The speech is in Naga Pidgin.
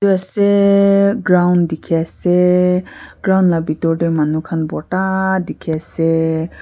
ase ground dikhi ase ground la bitor te manukhan bortaa dikhi ase--